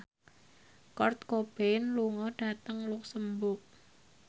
Kurt Cobain lunga dhateng luxemburg